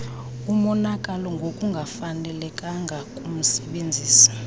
imonakalo ngokungafanelekanga kumsebenzisi